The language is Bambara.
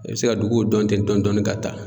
I be se ka dukuw dɔn ten dɔɔni dɔɔni ka taa.